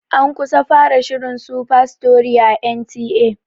An kusa fara shirin "Superstory"a N T A.